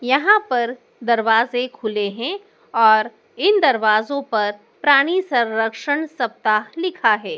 यहाँ पर दरवाज़े खुले हैं और इन दरवज़ों पर प्राणी संरक्षण सप्ताह लिखा है।